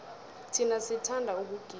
thina sithanda ukugida